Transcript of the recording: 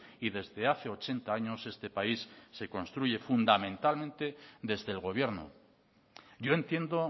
y desde hace ochenta años este país se construye fundamentalmente desde el gobierno yo entiendo